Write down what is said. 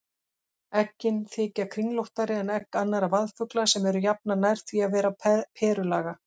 Eggin þykja kringlóttari en egg annarra vaðfugla sem eru jafnan nær því að vera perulaga.